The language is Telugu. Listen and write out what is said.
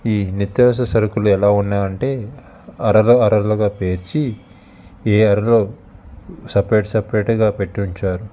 ఈ నిత్యవసర సరుకులు ఎలా ఉన్నాయంటే అరలు అరలుగా పేర్చి ఏ అరలో సపరేట్ సపరేట్ గ పెట్టి ఉంచారు.